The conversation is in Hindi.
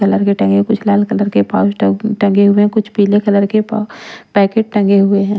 कलर के टंगे कुछ लाल कलर के पाउच टंगे हुए हैं कुछ पीले कलर के पाउ पैकेट टंगे हुए हैं।